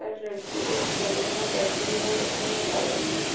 एक लड़की एक सेलून में बैठी है और अपने मोबाइल --